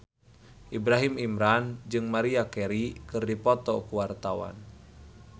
Ibrahim Imran jeung Maria Carey keur dipoto ku wartawan